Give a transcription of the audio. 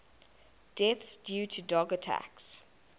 deaths due to dog attacks